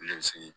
Ne bɛ sigi